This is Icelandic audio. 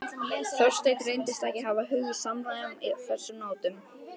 Þorsteinn reyndist ekki hafa hug á samræðum á þessum nótum.